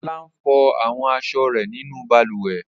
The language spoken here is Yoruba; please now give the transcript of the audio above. Olá ń fọ àwọn aṣọ rẹ̀ nínú balùwẹ̀.